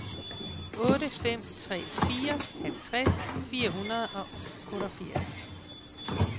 otte fem tre fire halvtreds fire hundrede og otteogfirs